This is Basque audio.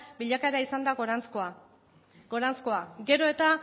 bilakaera izan da goranzkoa goranzkoa gero eta